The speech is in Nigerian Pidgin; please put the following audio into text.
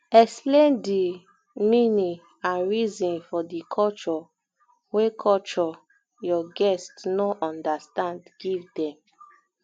explain di um meaning and reason for di culture wey culture wey your guest no um understand um give dem